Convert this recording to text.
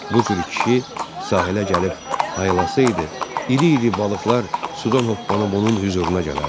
Bu cür kişi sahələ gəlib hayalasaydı, iri-iri balıqlar sudan hoppanıb onun hüzuruna gələrdi.